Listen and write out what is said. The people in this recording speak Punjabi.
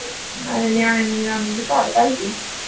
ਨਾਲੇ ਨਿਆਣੇਆਂ ਨੂੰ ਨੀਂਦ ਆਉਂਦੀ ਹੁੰਦੀ ਤਾਂ ਘਾਟ ਕਾਹਦੀ ਥੀ